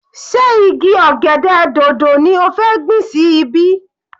Sé igi ọ̀gẹ̀dẹ̀ dòdò ni ó fẹ́ gbìn sí ibí?